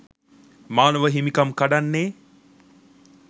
මානව හිමිකම් කඩන්නේ